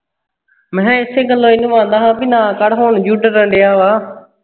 ਮੈਂ ਕਿਹਾ ਇਸ ਗੱਲੋਂ ਇਹਨੂੰ ਆਉਂਦਾ ਸੀ ਮੈਂ ਹੁਣ ਜ਼ੋਰ ਡਰਨ ਡਆਵਾਂ